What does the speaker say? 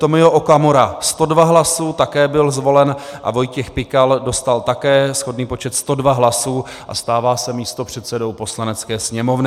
Tomio Okamura 102 hlasů, také byl zvolen, a Vojtěch Pikal dostal také shodný počet 102 hlasů a stává se místopředsedou Poslanecké sněmovny.